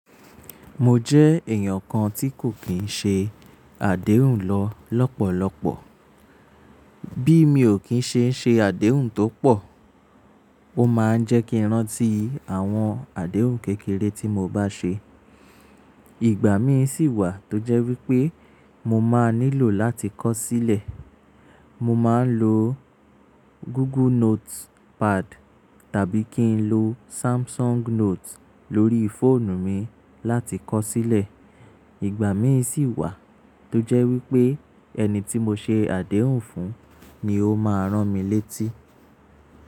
Mo jẹ́ èèyàn kan tí kò kìí ṣe àdéhùn lọ lọ́pọ̀lọ́pọ̀. Bí mi ò kín ṣe ṣe àdéhùn tó pọ̀, ó máa ń jẹ́ kí rántí àwọn àdéhùn kékeré tí mo bá ṣe. Ìgbà mi sì wà tó jẹ́ wípé mo máa nílò láti kọ sílẹ̀. Mo máa ń lo Google Notepad tàbí kí n lo Samsung Note lórí fóònù mi láti kọ sílẹ̀. Ìgbà mi sì wà tó jẹ́ wípé ẹni tí mo ṣe àdéhùn fún ni ó máa rán mi létí.